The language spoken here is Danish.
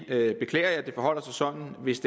jeg beklager at det forholder sig sådan hvis